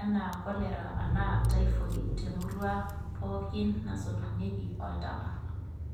anaa cholera anaa typhoid te murrua pookin nasotunyieki oltaka.